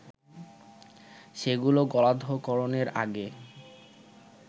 সেগুলো গলাধঃকরণের আগে